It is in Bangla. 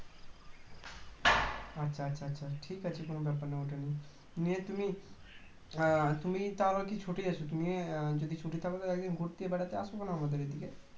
আচ্ছা আচ্ছা আচ্ছা ঠিক আছে কোনও ব্যাপার নেই ওটা নিয়ে আহ তুমি তুমি তোমার কি ছুটি আছে যদি ছুটি থাকত ঘুরতে বেড়াতে আসো না আমাদের এদিকে